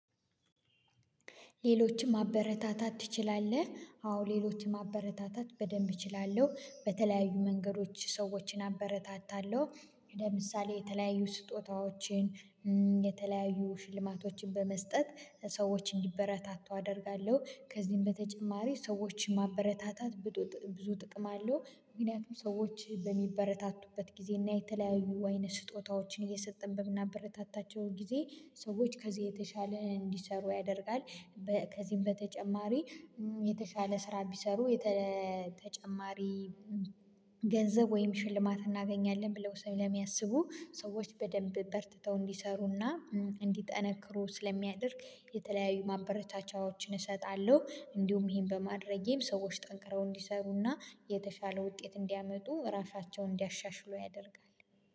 ሌሎችም ማበረታታት ትችላለህ? አዎ ሌሎችም ማበረታታት በደንብ እችላለሁ በተለያዩ መንገዶች ሰዎችን አበረታታለሁ ወደ ምሳሌ የተለያዩ ስጦታዎችን የተለያዩ ሽልማቶችን በመስጠት ሰዎች እንዲበረታቱ አደርጋለሁ። ከዚህም በተጨማሪ ሰዎችን ማበረታታት ብዙ ጥቅም አለው። ምክንያቱም ሰዎች በሚበረታቱበት ጊዜ እና የተለያዩ ወይንም ስጦታዎችን እየሰጠን በምናበረታታቸው ጊዜ ሰዎች ከዚህ የተሻለ እንዲሰሩ ያደርጋል። ከዚህም በተጨማሪ የተሻለ ስራ ቢሰሩ ተጨማሪ ገንዘብ ወይም ሽልማት እናገኛለን ብለው ስሜ ለሚያስቡ ሰዎች በደንብ በርትተው እንዲሰሩና እንዲጠነክሩ ስለሚያደርግ የተለያዩ ማበረቻቻዎችን እሰጣለሁ። እንዲሁም ይሄን በማድረጌም ሰዎች ጠንቅረው እንዲሰሩና የተሻለ ውጤት እንዲያመጡ ራሳቸውን እንዲያሻሽለው ያደርጋል።